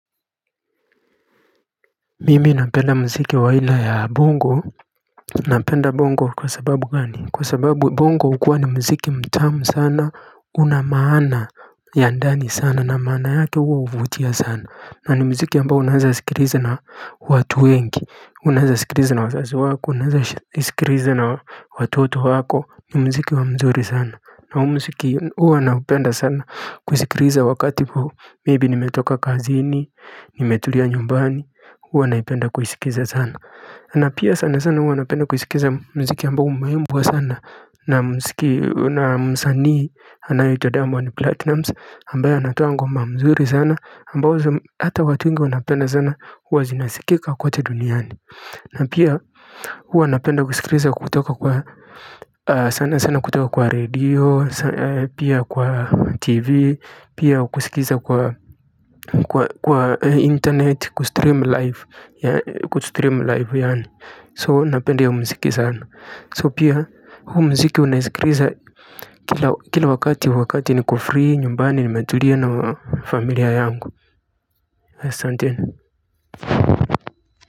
Mimi napenda muziki wa aina ya bongo napenda bongo kwa sababu gani kwa sababu bongo hukua ni muziki mtamu sana una maana ya ndani sana na maana yake huwa huvutia sana na ni muziki ambao unaeza sikiliza na watu wengi unaweza sikiliza na wazazi wako unaweza sikiliza na watoto wako ni muziki wa mzuri sana na huu muziki huwa naupenda sana. Kuisikiliza wakati maybe nimetoka kazini nimetulia nyumbani huwa naipenda kuisikiza sana na pia sana sana huwa napenda kuisikiza muziki ambao umeimbwa sana na msanii anaye itwa Diamond Platinumz ambaye anatoa ngoma nzuri sana ambazo hata watu wengi wanapenda sana huwa zinasikika kote duniani na pia huwa napenda kusikiliza kutoka kwa sana sana kutoka kwa redio pia kwa TV pia kusikiza kwa kwa internet kustream live ya kustream live yaani so napenda hiyo muziki sana so pia huu muziki unaisikiliza kila kila wakati wakati niko free nyumbani nimetulia na familia yangu asanteni.